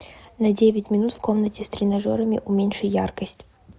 на девять минут в комнате с тренажерами уменьши яркость